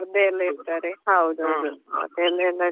ಹಾ competition ಎಲ್ಲ ಇರ್ತದಲ್ವಾ ಅಂತ ಸಂದರ್ಭದಲ್ಲಿ ಸ್ಪರ್ಧೆಯೆಲ್ಲ ಇಡ್ತಾರೆ.